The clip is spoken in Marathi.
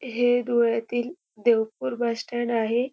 हे धुळ्यातील देवखुर बस स्टँड आहे.